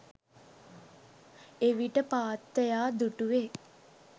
එවිට පාත්තයා දුටුවේ